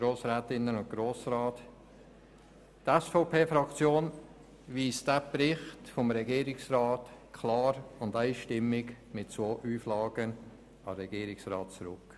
Die SVP-Fraktion weist diesen Bericht klar und einstimmig mit zwei Auflagen an den Regierungsrat zurück.